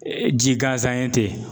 Ee ji gansan ye ten